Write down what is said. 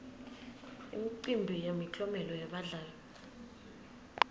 imicimbi yemiklomelo yebadlali